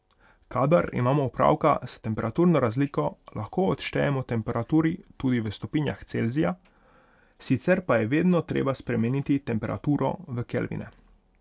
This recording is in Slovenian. Kadar imamo opravka s temperaturno razliko, lahko odštejemo temperaturi tudi v stopinjah Celzija, sicer pa je vedno treba spremeniti temperaturo v kelvine.